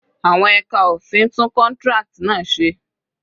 Àwọn ẹka òfin tún contract náà se